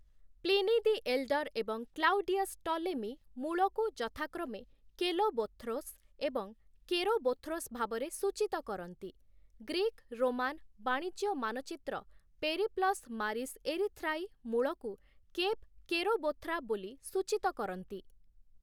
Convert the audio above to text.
Pliny the Elder ଏବଂ Claudius Ptolemy ମୂଳକୁ ଯଥାକ୍ରମେ କେଲୋବୋଥ୍ରୋସ୍ ଏବଂ କେରୋବୋଥ୍ରୋସ୍ ଭାବରେ ସୂଚିତ କରନ୍ତି, ଗ୍ରୀକ୍-ରୋମାନ୍ ବାଣିଜ୍ୟ ମାନଚିତ୍ର ପେରିପ୍ଲସ୍ ମାରିସ୍ ଏରିଥ୍ରାଇ ମୂଳକୁ କେପ୍‌ କେରୋବୋଥ୍ରା ବୋଲି ସୂଚିତ କରନ୍ତି ।